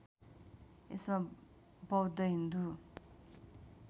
यसमा बौद्ध हिन्दू